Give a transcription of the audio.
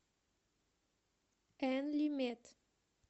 энлимед